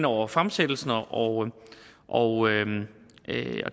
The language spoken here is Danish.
over fremsættelsen og og